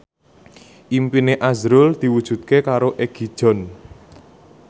impine azrul diwujudke karo Egi John